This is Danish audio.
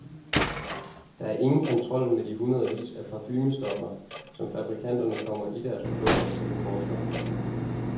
Der er ingen kontrol med de hundredvis af parfumestoffer, som fabrikanterne kommer i deres produkter, siger forsker.